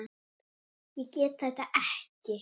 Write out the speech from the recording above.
Ég get þetta ekki.